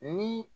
Ni